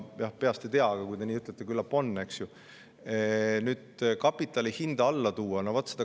Ma peast ei tea, aga kui te nii ütlete, siis küllap on.